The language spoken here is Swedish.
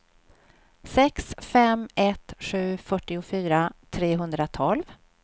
sex fem ett sju fyrtiofyra trehundratolv